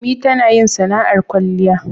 ummi tanayin sana'ar kwalliya